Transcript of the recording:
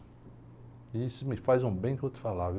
E isso me faz um bem que eu vou te falar, viu?